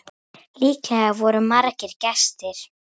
Líklega voru margir gestir.